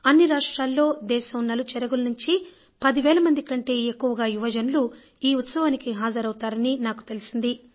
అన్ని రాష్ట్రాల్లో దేశం నలుచెరగుల నుంచి 10 వేల మంది కంటే ఎక్కువగా యువజనులు ఈ ఉత్సవానికి హాజరవుతారని నాకు తెలిసింది